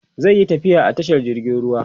zaiyi tafiya a jirgin ruwa